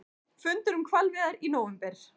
Fundur um hvalveiðar í nóvember